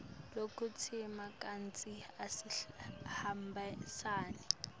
lokutsite kantsi asihambisani